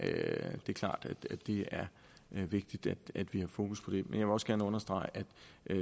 det er klart at det er vigtigt at vi har fokus på det men jeg vil også gerne understrege